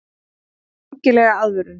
Hann þarf rækilega aðvörun.